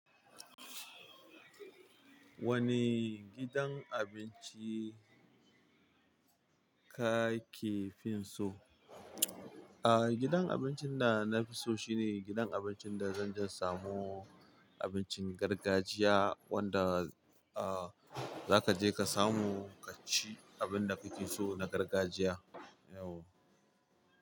Wane gidan abinci kake finso? Aa gidan abincin da na fi so shine gidan abincin da zanje in samu abincin gargajiya wanda aah zakaje ka samu ka ci abinda kake so na gargajiya. Yauwa.